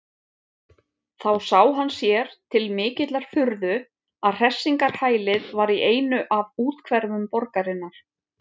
Þá sá hann sér til mikillar furðu að hressingarhælið var í einu af úthverfum borgarinnar.